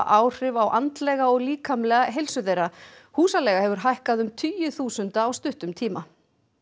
áhrif á andlega og líkamlega heilsu þeirra húsaleiga hefur hækkað um tugi þúsunda á stuttum tíma